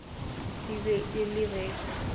e be e le ge